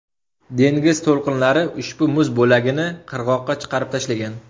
Dengiz to‘lqinlari ushbu muz bo‘lagini qirg‘oqqa chiqarib tashlagan.